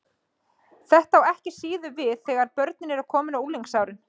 Þetta á ekki síður við þegar börnin eru komin á unglingsárin.